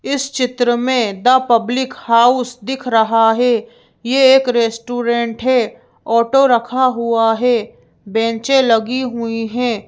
इस चित्र में द पब्लिक हाउस दिख रहा है यह एक रेस्टोरेंट है ऑटो रखा हुआ है बेंचें लगी हुई हैं।